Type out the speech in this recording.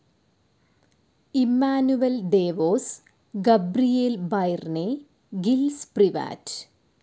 Emmanuel Devos, Gabriel Byrne, Gilles Privat